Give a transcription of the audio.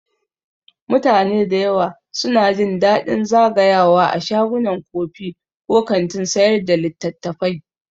Mutane da yawa suna jin daɗin zagayawa a shagunan kofi ko kantin sayar da littattafai.